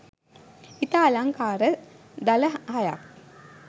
ඉතා අලංකාර දළ හයක්